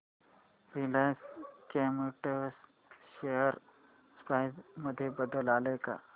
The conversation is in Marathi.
रिलायन्स केमोटेक्स शेअर प्राइस मध्ये बदल आलाय का